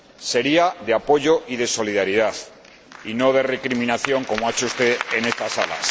sería de apoyo y de solidaridad, y no de recriminación, como ha hecho usted en esta sala.